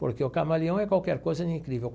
Porque o camaleão é qualquer coisa de incrível.